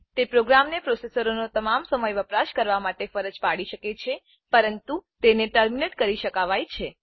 તે પ્રોગ્રામને પ્રોસેસરનો તમામ સમય વપરાશ કરવા માટે ફરજ પાડી શકે છે પરંતુ તેને ટર્મિનેટ કરી શકાવાય છે